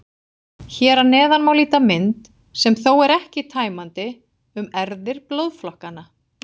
Hér að neðan má líta mynd, sem þó er ekki tæmandi, um erfðir blóðflokkanna.